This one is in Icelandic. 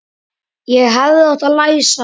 Ég hefði átt að læsa.